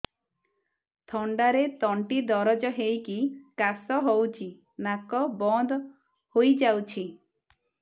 ଥଣ୍ଡାରେ ତଣ୍ଟି ଦରଜ ହେଇକି କାଶ ହଉଚି ନାକ ବନ୍ଦ ହୋଇଯାଉଛି